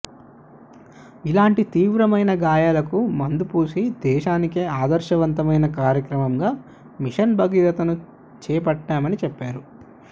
ఇలాంటి తీవ్రమైన గాయాలకు మందుపూసి దేశానికే ఆదర్శవంతమైన కార్యక్రమంగా మిషన్ భగీరథను చేట్టామని చెప్పారు